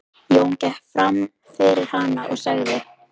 Jón gekk fram fyrir hann og sagði